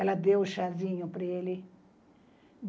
Ela deu o chazinho para ele.